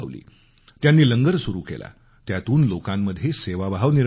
त्यांनी लंगर सुरु केला त्यातून लोकांमध्ये सेवाभाव निर्माण झाला